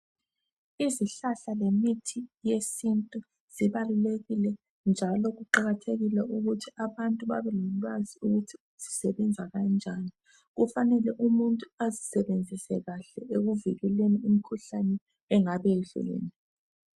Izihlahla lemithi yesintu zibalulekike njalo kuqakathekile ukuthi ubantu babe lolwazi ukuthi zisebenza kanjani. Kufanele umuntu azisebenzise kahle ekuvikeleni imikhuhlane engabe ihlukene.